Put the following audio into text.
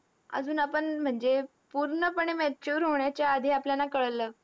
अजून आपण म्हणजे पूर्णपणे mature होण्याच्या आधी आपल्याला कळलं.